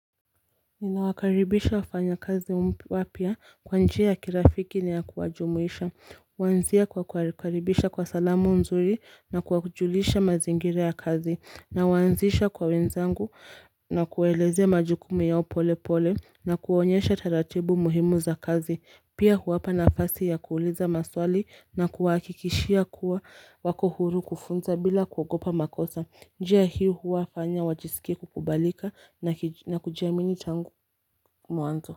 Inawakaribisha wafanyakazi wapya kwa njia ya kirafiki na ya kuwajumuisha. Huanzia kwa kukaribisha kwa salamu nzuri na kuwajulisha mazingira ya kazi. Nawaanzisha kwa wenzangu na kuwaelezea majukumu yao polepole na kuwaonyesha taratibu muhimu za kazi. Pia huwapa nafasi ya kuuliza maswali na kuwahakikishia kuwa wako huru kufunza bila kuogopa makosa. Njia hii huwafanya wajisikie kukubalika na kujiamini tangu mwanzo.